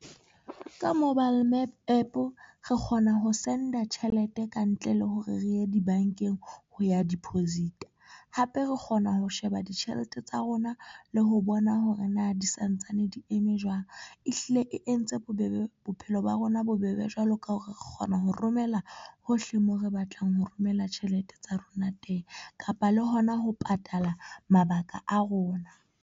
Ka mobile APP re kgona ho send-a tjhelete kantle le hore re ye dibankeng ho ya deposit hape re kgona ho sheba ditjhelete tsa rona le ho bona hore na di santsane di eme jwang. E hlile e entse bobebe bophelo ba rona bobebe jwalo ka hore re kgona ho romela hohle moo re batlang ho romela tjhelete tsa rona teng kapa le hona ho patala mabaka a rona.